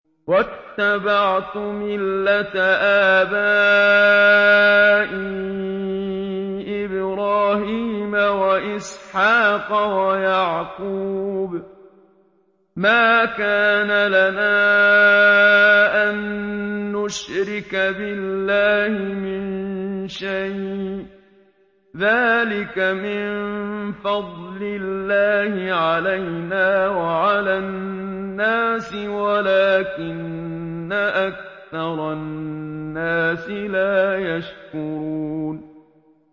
وَاتَّبَعْتُ مِلَّةَ آبَائِي إِبْرَاهِيمَ وَإِسْحَاقَ وَيَعْقُوبَ ۚ مَا كَانَ لَنَا أَن نُّشْرِكَ بِاللَّهِ مِن شَيْءٍ ۚ ذَٰلِكَ مِن فَضْلِ اللَّهِ عَلَيْنَا وَعَلَى النَّاسِ وَلَٰكِنَّ أَكْثَرَ النَّاسِ لَا يَشْكُرُونَ